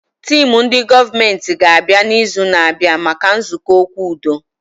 Teemu ndị gọọmenti ga abịa na izu na abịa maka nzukọ okwu udo